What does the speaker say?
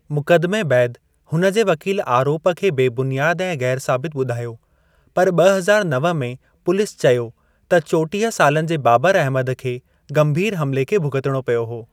मुकदमे बैदि हुन जे वकील आरोप खे बेबुनियादु ऐं गै़रसाबितु बुधायो, पर ॿ हज़ार नव में पुलिस चयो त चौटिह सालनि जे बाबर अहमद खे गंभीर हमले खे भुगतणो पियो हो।